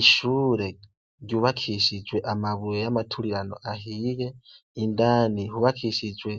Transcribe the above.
Ishure ryubakishijwe amabuye y'amaturirano ahiye indani hubakishijwe